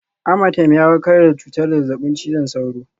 Amatem ya warkar da cutar zazzabin cizon sauro